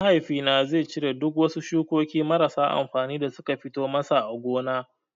Mahaifi na zai cire duk wasu shukokin marasa amfani da suka fito masa a gona.